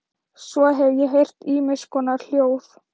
Svo hef ég heyrt ýmiss konar hljóð.